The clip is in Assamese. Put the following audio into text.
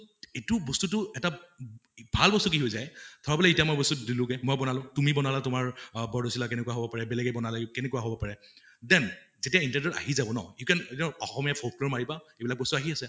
এইটো বস্তুতো এটা ভাল বস্তু কি হয় যায় ধৰা বোলে এতিয়া মই বস্তুটো দিলোগে মই বনালো তুমি বনালা তোমাৰ আহ বৰ্দৈচিলা কেনেকুৱা হʼব পাৰে বেলেগে বনালে কেনেকুৱা হʼব পাৰে then যেতিয়া তো আহি যাব ন you can you can Asomiya folklore মাৰিবা এইবিলাক বস্তু আহি আছে